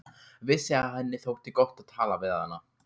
Vissi að henni þótti gott að tala við hana.